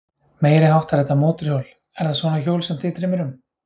Meiriháttar þetta mótorhjól. er það svona hjól sem þig dreymir um?